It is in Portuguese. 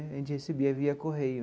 A gente recebia via correio.